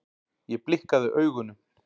Ég blikkaði augunum.